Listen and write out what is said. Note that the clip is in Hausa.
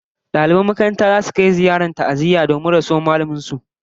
Daliban makarantar zasu kai ziyarar ta'aziyya domin rasuwar mallamin su